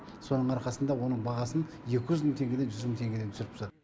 соның арқасында оның бағасын екі жүз мың теңгеден жүз мың теңгеге түсіріп тастады